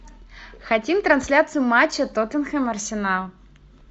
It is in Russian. хотим трансляцию матча тоттенхэм арсенал